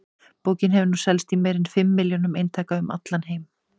Bókin hefur nú selst í meira en fimm milljónum eintaka um allan heim.